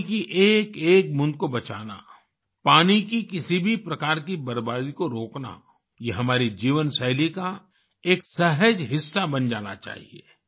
पानी की एकएक बूँद को बचाना पानी की किसी भी प्रकार की बर्बादी को रोकना यह हमारी जीवन शैली का एक सहज हिस्सा बन जाना चाहिए